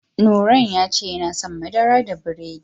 Nurain ya ce yana son madara da biredi.